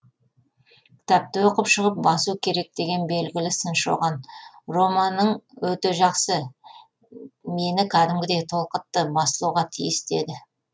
кітапты оқып шығып басу керек деген белгілі сыншы оған романың өте жақсы мені кәдімгідей толқытты басылуға тиіс деді